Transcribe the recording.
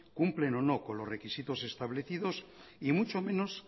cumplen o no con los requisitos establecidos y mucho menos